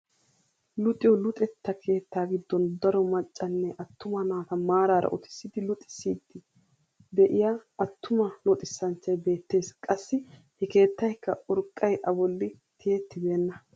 Luxiyoo luxetta keettaa giddon daro maccanne attuma naata maarara uttisidi luxisiidi de'iyaa attuma luxisanchchay beettees. qassi he keettaykka urqqay a bolli tiyettibena.